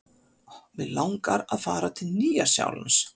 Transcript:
Mig langar að fara til Nýja-Sjálands.